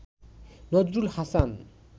Nazrul Hasan